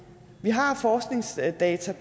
har forskningsdata